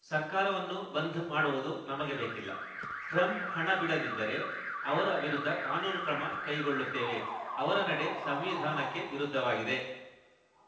ಸರ್ಕಾರವನ್ನು ಬಂದ್‌ ಮಾಡುವುದು ನಮಗೆ ಬೇಕಿಲ್ಲ ಟ್ರಂಪ್‌ ಹಣ ಬಿಡದಿದ್ದರೆ ಅವರ ವಿರುದ್ಧ ಕಾನೂನು ಕ್ರಮ ಕೈಗೊಳ್ಳುತ್ತೇವೆ ಅವರ ನಡೆ ಸಂವಿಧಾನಕ್ಕೆ ವಿರುದ್ಧವಾಗಿದೆ